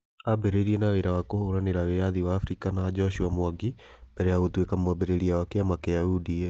Ambĩrĩirie na wĩra wa kũhũranĩra wĩyathi wa afrika na joshua mwangi mbere ya gũtuĩka mwambĩrĩria wa kĩama kĩa UDA.